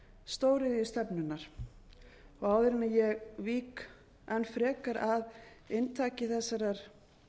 stóriðjustefnunnar áður en ég vík enn frekar að inntaki þessarar